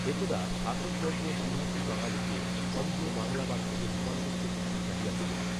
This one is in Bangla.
একদা শাসকবর্গ দ্বিভাষী বাঙালিকে খঞ্জ বাংলাবাদীতে রূপান্তরিত করিতে চাহিয়াছিলেন